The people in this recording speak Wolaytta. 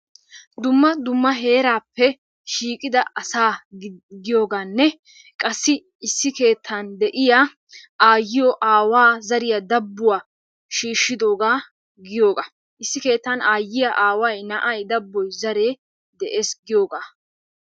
Dumma dumma heerappe shiiqida asaa giyooganne qassi issi keettan de'iyaa aayyiyo, aawaa, zariya dabbuwaa shiishshidooga giyooga. Issi keettan aayyiya, aaway, na'ay, zaree dees giyooga.